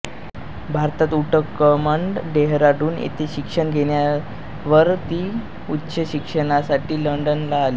भारतात उटकमंड डेहराडून येथे शिक्षण घेतल्यावर ती उच्च शिक्षणासाठी लंडनला आली